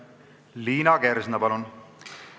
Liina Kersna, palun!